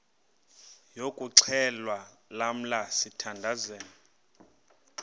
yokuxhelwa lamla sithandazel